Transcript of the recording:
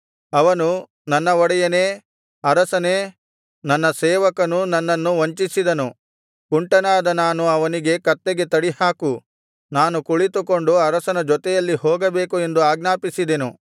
ಅವನು ನನ್ನ ಒಡೆಯನೇ ಅರಸನೇ ನನ್ನ ಸೇವಕನು ನನ್ನನ್ನು ವಂಚಿಸಿದನು ಕುಂಟನಾದ ನಾನು ಅವನಿಗೆ ಕತ್ತೆಗೆ ತಡಿಹಾಕು ನಾನು ಕುಳಿತುಕೊಂಡು ಅರಸನ ಜೊತೆಯಲ್ಲಿ ಹೋಗಬೇಕು ಎಂದು ಆಜ್ಞಾಪಿಸಿದೆನು